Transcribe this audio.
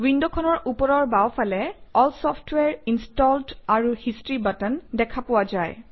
উইণ্ডখনৰ ওপৰৰ বাওঁফালে এল ছফটৱাৰে ইনষ্টলড আৰু হিষ্টৰী বাটন দেখা পোৱা যায়